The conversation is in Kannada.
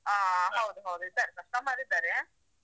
ಹಾ ಹೌದು ಹೌದು ಇದ್ದಾರೆ customer ಇದ್ದಾರೆ.